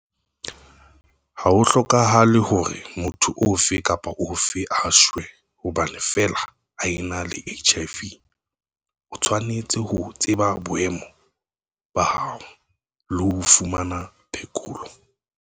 Ha ho hlokahale hore motho ofe kapa ofe a shwe hobane feela a ena le HIV - o tshwanetse ho tseba boemo ba hao, le ho fumana phekolo.